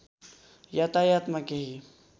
यातायातमा केही